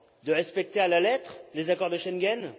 De respecter à la lettre les accords de Schengen?